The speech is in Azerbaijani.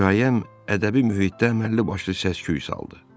Hekayəm ədəbi mühitdə əməlli başlı səs-küy saldı.